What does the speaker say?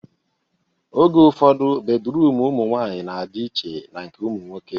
Oge ụfọdụ, bedruum ụmụ nwaanyị na-adị iche na nke ụmụ nwoke